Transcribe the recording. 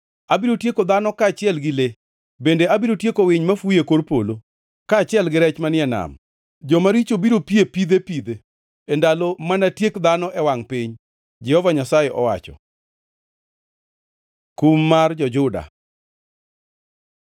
“Abiro tieko dhano kaachiel gi le, bende abiro tieko winy mafuyo e kor polo, kaachiel gi rech manie nam. Jomaricho biro pie pidhe pidhe, e ndalo manatiek dhano e wangʼ piny,” Jehova Nyasaye owacho. Kum mar jo-Juda